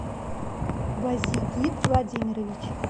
бозигит владимирович